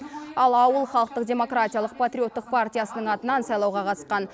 ал ауыл халықтық демократиялық патриоттық партиясының атынан сайлауға қатысқан